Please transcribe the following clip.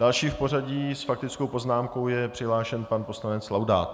Další v pořadí s faktickou poznámkou je přihlášen pan poslanec Laudát.